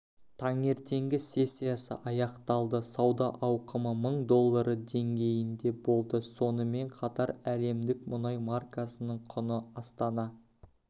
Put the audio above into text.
таңертеңгі сессиясы аяқталды сауда ауқымы мың доллары деңгейінде болды сонымен қатар әлемдік мұнай маркасының құны астана